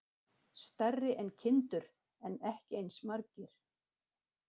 Stærri en kindur en ekki eins margir.